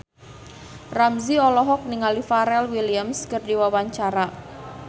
Ramzy olohok ningali Pharrell Williams keur diwawancara